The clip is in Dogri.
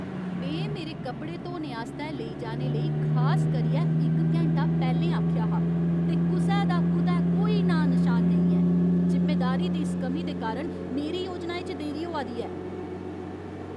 में मेरे कपड़े धोने आस्तै लेई जाने लेई खास करियै इक घैंटा पैह्लें आखेआ हा, ते कुसै दा कुतै कोई नांऽ नशान नेईं ऐ। जिम्मेदारी दी इस कमी दे कारण मेरी योजनाएं च देरी होआ दी ऐ!